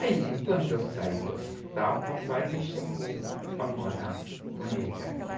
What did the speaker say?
Aí, quando eu saí do hospital, o papai me chamou para morar com ele aqui.